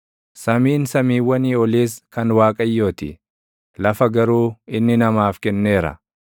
Samiin samiiwwanii oliis kan Waaqayyoo ti; lafa garuu inni namaaf kenneera.